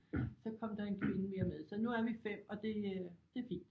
Så kom der en kvinde mere med så nu er vi 5 og det øh det er fint